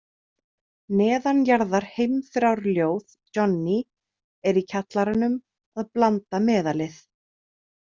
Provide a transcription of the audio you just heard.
Neðanjarðarheimþrárljóð Johnny er í kjallaranum að blanda meðalið.